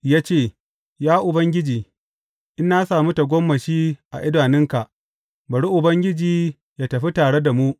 Ya ce, Ya Ubangiji, in na sami tagomashi a idanunka, bari Ubangiji yă tafi tare da mu.